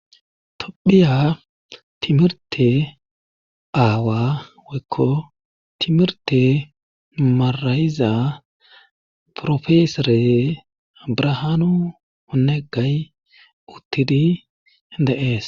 tophiya timirte aawa woykko timirte marayiza profesore brahaanu onegay uttidi de7ees